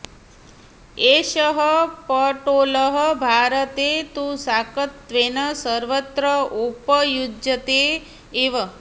एषः पटोलः भारते तु शाकत्वेन सर्वत्र उपयुज्यते एव